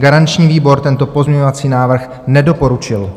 Garanční výbor tento pozměňovací návrh nedoporučil.